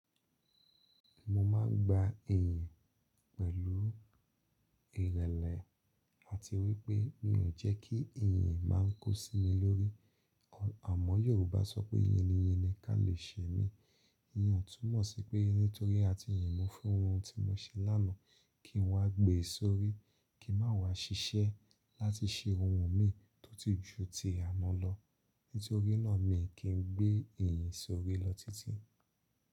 Mo máa ń gba ìyìn pẹ̀lú ìrẹ̀lẹ̀ àti wípé mi ò jẹ́ kí ìyìn máa ń kó sí mi lórí. Ọ̀, àmọ́ Yorùbá sọ pé "yin ni yin ni ká lè ṣe mí". Iyen ò túmọ̀ sí pé nítorí a ti yìn mú fún ohun tí mo ṣe lánàá kí n wá gbé ìsọ́rí, kí má wá ṣiṣẹ́ láti ṣe ohun mi tó ti ju ti àná lọ. Nítorí náà mi kì í gbé ìyìn sórí lọ títí.